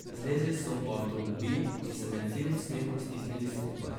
Zlezli so v avtomobil in se med silnim smehom stisnili skupaj.